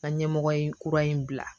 N ka ɲɛmɔgɔ in kura in bila